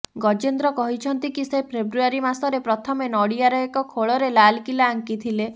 ଗଜେନ୍ଦ୍ର କହିଛନ୍ତି କି ସେ ଫେବ୍ରୁଆରୀ ମାସରେ ପ୍ରଥମେ ନଡିଆର ଏକ ଖୋଳରେ ଲାଲକିଲା ଆଙ୍କିଥିଲେ